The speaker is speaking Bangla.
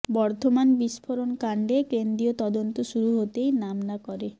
বর্ধমান বিস্ফোরণকাণ্ডে কেন্দ্রীয় তদন্ত শুরু হতেই নাম না করে